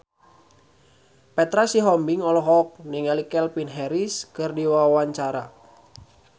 Petra Sihombing olohok ningali Calvin Harris keur diwawancara